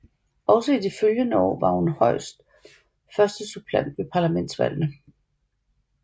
Også i de følgende år var hun højst førstesuppleant ved parlamentsvalgene